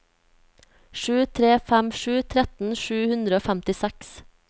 sju tre fem sju tretten sju hundre og femtiseks